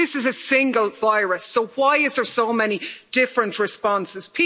This is a single virus so why are there so many different responses?